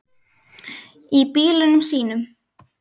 Í bílunum sínum.